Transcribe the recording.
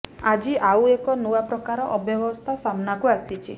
ଆଜି ଆଉ ଏକ ନୂଆ ପ୍ରକାର ଅବ୍ୟବସ୍ଥା ସାମ୍ନାକୁ ଆସିଛି